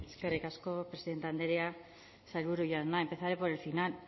eskerrik asko presidente andrea sailburua jauna empezaré por el final